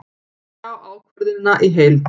Sjá ákvörðunina í heild